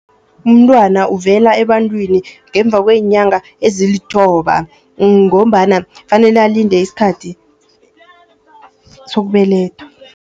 Umntwana uvela ebantwini, ngemva kweenyanga ezilithoba ngombana kufanele alinde iskhathi sokubelethwa.